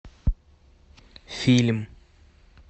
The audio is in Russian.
фильм